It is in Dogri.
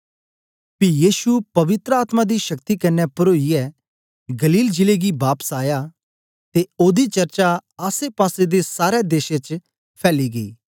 पी यीशु पवित्र आत्मा दी शक्ति कन्ने परोईयै गलील जिले गी बापस आया ते ओदी चर्चा आसेपासे दे सारै देश च फैली गेई